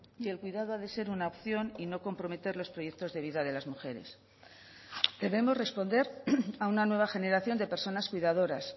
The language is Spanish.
y el cuidado ha de ser una opción y no comprometer los proyectos de vida de las mujeres debemos responder a una nueva generación de personas cuidadoras